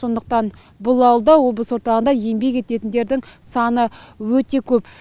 сондықтан бұл ауылда облыс орталығында еңбек ететіндердің саны өте көп